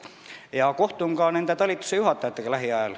Lähiajal kohtun ka nende talitusejuhatajatega.